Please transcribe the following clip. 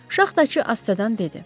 Şaxtaçı Astadan dedi: